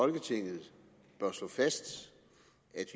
folketinget bør slå fast at